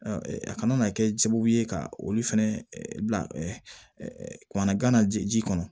a kana na kɛ sababu ye ka olu fɛnɛ bila kumana gana ji kɔnɔ